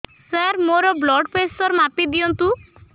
ସାର ମୋର blood pressure ମାପି ଦିଅନ୍ତୁ